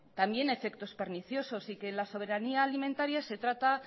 también efectos perniciosos y que en la soberanía alimentaria se trata